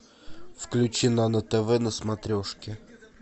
включи нано тв на смотрешке